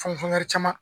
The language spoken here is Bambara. Fɛnkɛ caman